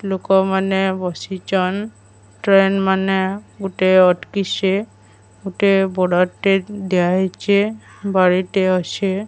ଲୋକ ମାନେ ବସିଛନ ଟ୍ରେନ ମାନେ ଗୋଟେ ଅଟକିଛି ଗୋଟେ ବୋର୍ଡ ର ଟେ ଦିଆଯାଇଛି।